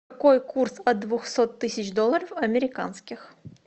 какой курс от двухсот тысяч долларов американских